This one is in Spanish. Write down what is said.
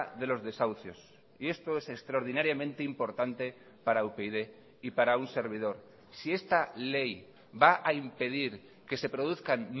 de los desahucios y esto es extraordinariamente importante para upyd y para un servidor si esta ley va a impedir que se produzcan